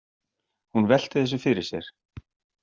Hún velti þessu fyrir sér.